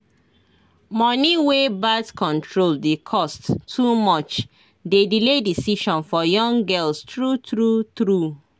money wey birth control dey cost too much dey delay decision for young girls true true true